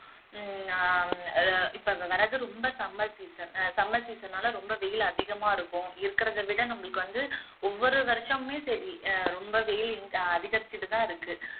ஹம் ஆஹ் இப்போ வர்றது ரொம்ப summer season summer season ஆல ரொம்ப வெயில் அதிகமா இருக்கும் இருக்கிறத விட நம்மளுக்கு வந்து ஒவ்வொரு வருஷமுமே சரி ஆஹ் ரொம்ப வெயில் அதிகரிச்சிட்டுதான் இருக்கு